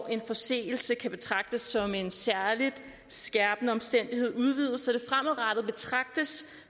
en forseelse kan betragtes som en særligt skærpende omstændigheder udvides